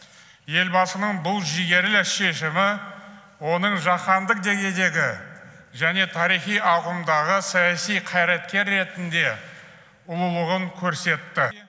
елбасының бұл жігерлі шешімі оның жаһандық деңгейдегі және тарихи ауқымдағы саяси қайраткер ретінде ұлылығын көрсетті